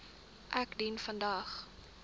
ek dien vandag